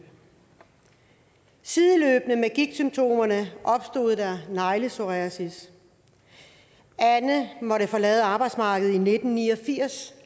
sideløbende med gigtsymptomerne opstod der neglepsoriasis anne måtte forlade arbejdsmarkedet i nitten ni og firs